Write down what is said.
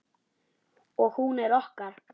Og hún er okkar.